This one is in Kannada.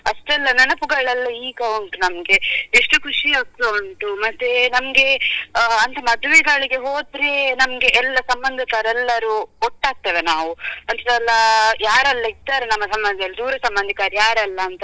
ಅಷ್ಟೆಲ್ಲ ನೆನಪುಗಳೆಲ್ಲಾ ಈಗ ಉಂಟು ನಮ್ಗೆ ಎಷ್ಟು ಖುಷಿ ಆಗ್ತಾ ಉಂಟು ಮತ್ತೆ ನಮ್ಗೆ ಅಂತ ಮದ್ವೆಗಳಿಗೆ ಹೋದ್ರೆ ನಮ್ಗೆ ಎಲ್ಲ ಸಂಬಂದಿಕರೆಲ್ಲರು ಒಟ್ಟಾಗ್ತೇವೆ ನಾವು ಯಾರೆಲ್ಲ ಇದ್ದಾರೆ ನಮ್ದು ಸಂಬಂದಲ್ಲಿ ದೂರ ಸಂಬಂದಿಕರು ಯಾರೆಲ್ಲ ಅಂತ.